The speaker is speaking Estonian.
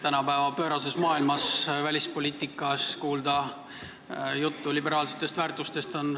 Tänapäeva pöörases välispoliitikas on puhas rõõm kuulda juttu liberaalsetest väärtustest.